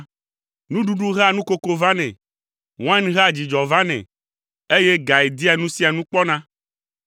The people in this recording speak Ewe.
Nuɖuɖu hea nukoko vanɛ, wain hea dzidzɔ vanɛ, eye gae dia nu sia nu kpɔna.